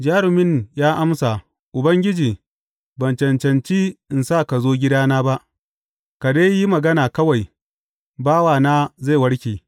Jarumin ya amsa, Ubangiji, ban cancanci in sa ka zo gidana ba, ka dai yi magana kawai, bawana zai warke.